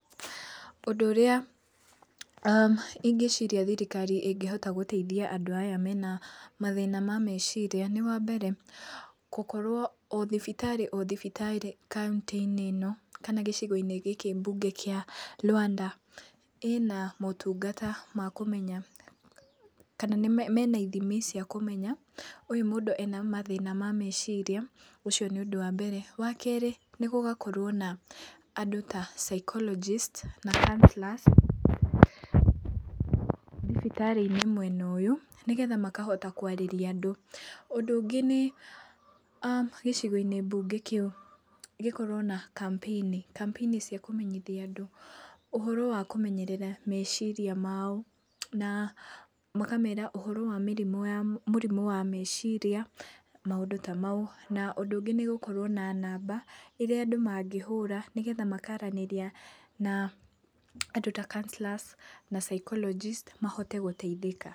Ũndũ ũrĩa aah ingĩciiria thirikari ĩngĩhota gũteithia andũ aya mena mathina ma meciria nĩ wambere, gĩkorwo o thibitarĩ o thibitarĩ kauntĩ-inĩ ĩno kana gĩcigo-inĩ gĩkĩ mbunge kĩa Luanda, ĩna maũtungata ma kũmenya kana mena ithimi cia kũmenya, ũyũ mũndũ ena mathĩna ma maciria, ũcio nĩ ũndũ wa mbere. Wakerĩ, nĩ gũgakorwo na andũ ta psychologist na caunsellors thibitarĩ-inĩ mwena ũyũ, nĩgetha makahota kwarĩria andũ. Ũndũ ũngĩ nĩ, aah gĩcigo-inĩ mbunge kĩũ gĩkorwo na campaign. Campaign cia kũmenyithia andũ, ũhoro wa kũmenyerera meciria mao, na makamera ũhoro wa mĩrimũ ya mũrimũ wa meciria na maũndũ ta maũ. Na ũndũ ũngĩ nĩ gũkorwo na namba ĩrĩa andũ mangĩhũra, nĩgetha makaranĩria na andũ ta counsellors na psychologist mahote gũteithĩka.